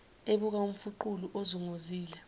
ebuka umfuqulu onguzongile